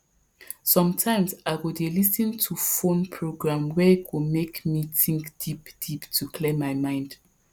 sometimes i go dey lis ten to phone program wey go make me think deep deep to clear my mind